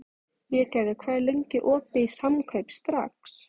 Végerður, hvað er lengi opið í Samkaup Strax?